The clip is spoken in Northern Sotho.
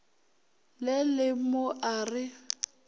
le le mo a re